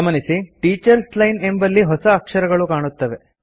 ಗಮನಿಸಿ teachers line ಎಂಬಲ್ಲಿ ಹೊಸ ಅಕ್ಷರಗಳು ಕಾಣುತ್ತವೆ